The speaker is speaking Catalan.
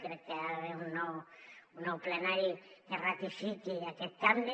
crec que hi ha d’haver un nou plenari que ratifiqui aquest canvi